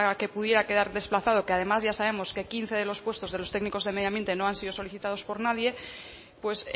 que pudiera quedar desplazado que además ya sabemos que quince de los puestos de los técnicos del medio ambiente no han sido solicitados por nadie pues